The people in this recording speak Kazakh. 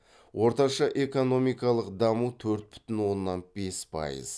орташа экономикалық даму төрт бүтін оннан бес пайыз